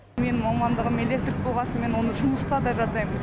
менің мамандығым электрик болған соң мен оны жұмыста да жасаймын